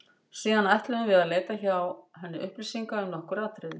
Síðan ætluðum við að leita hjá henni upplýsinga um nokkur atriði.